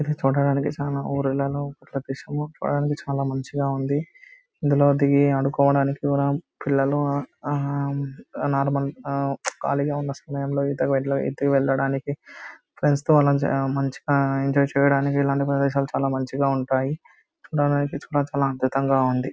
ఇది చూడడానికి చానా ఊరలలో చానా మంచిగా ఉంది. ఇందులో దిగి ఆడుకోవటానికి పిల్లలు నార్మల్ ఖాళీగా ఉన్న సమయంలో ఈతకు అట్లా పోయి ఈతకు వెళ్ళడానికి ఫ్రెండ్స్ తో మనం మంచి-మంచిగా ఎంజాయ్ చేయడానికి ఇలాంటి ప్రదేశాలు చాలా మంచిగా ఉంటాయి. చాలా అద్భుతంగా ఉంది.